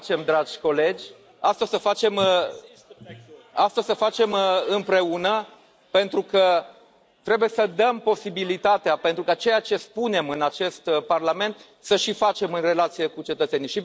o să facem, dragi colegi, asta o să facem împreună, pentru că trebuie să dăm posibilitatea ca ceea ce spunem în acest Parlament să și facem în relațiile cu cetățenii.